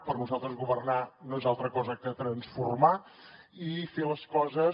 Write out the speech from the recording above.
per nosaltres governar no és altra cosa que transformar i fer les coses